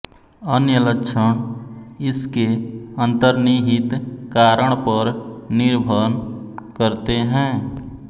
अन्य लक्षण इसके अंतर्निहित कारण पर निर्भर करते हैं